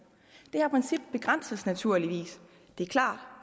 det her princip begrænses naturligvis det er klart